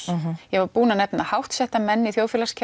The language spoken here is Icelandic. ég var búin að nefna háttsetta menn í